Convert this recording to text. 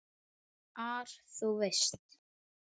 ar, þú veist.